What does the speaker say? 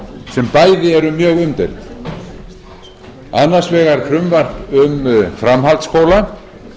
sem bæði eru mjög umdeild annars vegar frumvarp um framhaldsskóla